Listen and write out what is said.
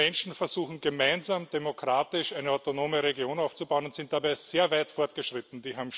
Diese Menschen versuchen gemeinsam, demokratisch eine autonome Region aufzubauen, und sind dabei sehr weit fortgeschritten.